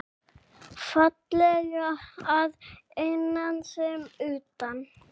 Fallega að innan sem utan.